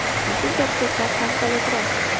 Bu gap-so‘zlar qanchalik rost?